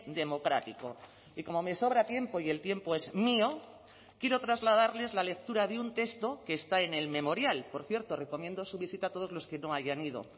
democrático y como me sobra tiempo y el tiempo es mío quiero trasladarles la lectura de un texto que está en el memorial por cierto recomiendo su visita a todos los que no hayan ido